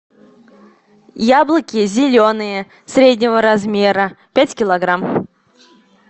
яблоки зеленые среднего размера пять килограмм